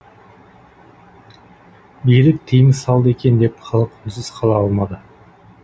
билік тиым салды екен деп халық үнсіз қала алмады